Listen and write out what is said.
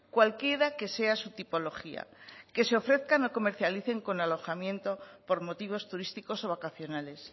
cualquiera que sea su tipología que se ofrezcan o comercialicen con alojamiento por motivos turísticos o vacacionales